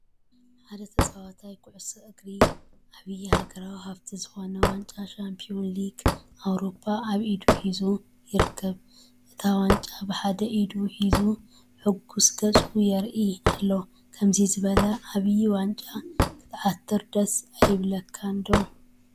ሓደ ተጻዋታይ ኩዕሶ እግሪ፡ ዓቢ ሃገራዊ ሃብቲ ዝኾነ ዋንጫ ቻምፕዮንስ ሊግ ኤውሮጳ ኣብ ኢዱ ሒዙ ይርከብ። እታ ዋንጫ ብሓደ ኢዱ ሒዙ ሕጉስ ገጹ የርእዮ ኣሎ። ከምዚ ዝበለ ዓብይ ዋንጫ ክትዓትር ደስ ኣይብለካን?